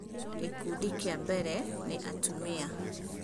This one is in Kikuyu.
Gĩkũndĩ kĩa mbere nĩ atumia